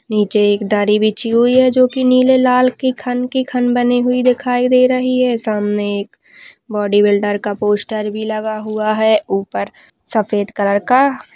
नीचे एक दरी बिछी हुई है जो की नीले लाल के खन के खन बनी हुई दिखाई दे रही है सामने एक बॉडी बिल्डर का पोस्टर भी लगा हुआ है। ऊपर सफ़ेद कलर का --